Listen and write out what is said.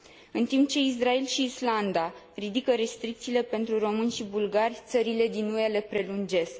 În timp ce Israel și Islanda ridică restricțiile pentru români și bulgari, țările din UE le prelungesc.